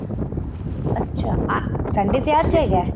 ਅੱਛਾ Sunday ਤੇ ਅੱਜ ਹੈਗਾ